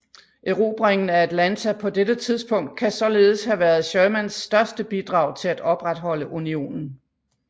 Erobringen af Atlanta på dette tidspunkt kan således have været Shermans største bidrag til at opretholde Unionen